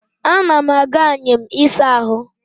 Ana m aga anyịm ịsa ahụ